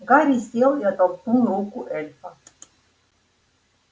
гарри сел и оттолкнул руку эльфа